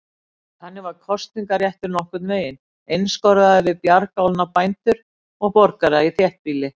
Þannig var kosningaréttur nokkurn veginn einskorðaður við bjargálna bændur og borgara í þéttbýli.